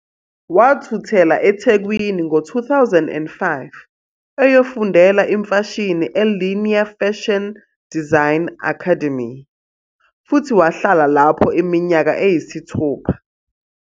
Wathuthela eThekwini ngo-2005 eyofundela imfashini eLinea Fashion Design Academy futhi wahlala lapho iminyaka eyisithupha.